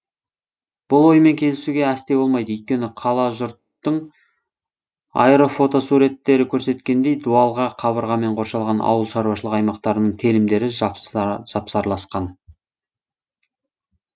бұл оймен келісуге әсте болмайды өйткені кала жұрттың аэрофотосуреттері көрсеткендей дуалға қабырғамен қоршалған ауылшаруашылық аймақтарының телімдері жапсарласқан